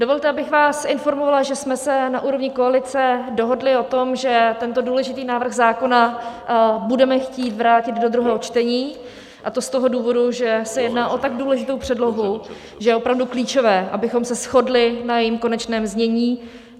Dovolte, abych vás informovala, že jsme se na úrovni koalice dohodli o tom, že tento důležitý návrh zákona budeme chtít vrátit do druhého čtení, a to z toho důvodu, že se jedná o tak důležitou předlohu, že je opravdu klíčové, abychom se shodli na jejím konečném znění.